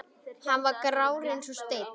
Hann var grár eins og steinn.